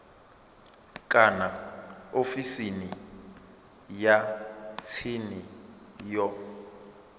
kana ofisini ya tsini ya